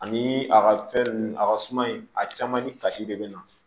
Ani a ka fɛn nun a ka suma in a caman ni kasi de bɛ na